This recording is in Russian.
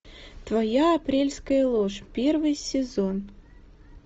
твоя апрельская ложь первый сезон